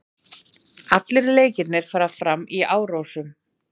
Allir leikirnir fara fram í Árósum